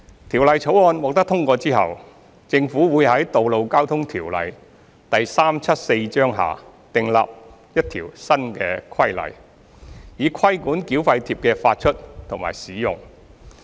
《條例草案》獲通過後，政府會在《道路交通條例》下訂立一項新規例，以規管繳費貼的發出和使用。